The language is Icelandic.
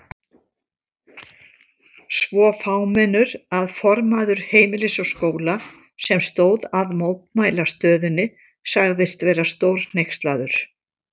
Svo fámennur að formaður Heimilis og Skóla, sem stóð að mótmælastöðunni sagðist vera stórhneykslaður.